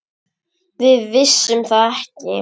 Við vissum það ekki.